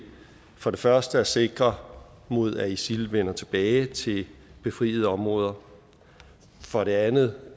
for det første at sikre mod at isil vender tilbage til befriede områder for det andet